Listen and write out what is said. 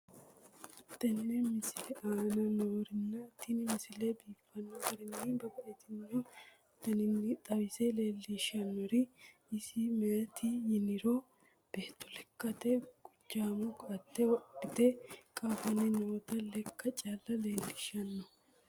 tenne misile aana noorina tini misile biiffanno garinni babaxxinno daniinni xawisse leelishanori isi maati yinummoro beetto lekkatte guchaammo koate wodhitte qaaffanni nootta leekka calla leelishshanno.